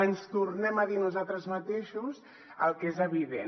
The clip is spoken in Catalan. ens tornem a dir a nosaltres mateixos el que és evident